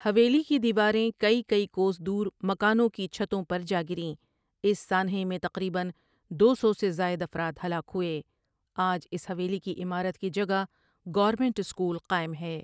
حویلی کی دیواریں کئی کئی کوس دور مکانوں کی چھتوں پر جا گریں اس سانحے میں تقریباً دو سو سے زائد افراد ہلاک ہوئے آج اس حویلی کی عمارت کی جگہ گورنمنٹ اسکول قائم ہے۔